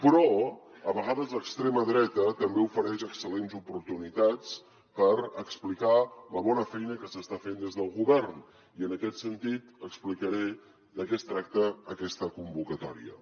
però a vegades l’extrema dreta també ofereix excel·lents oportunitats per explicar la bona feina que s’està fent des del govern i en aquest sentit explicaré de què tracta aquesta convocatòria